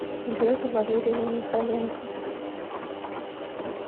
вере валерьевне михайленко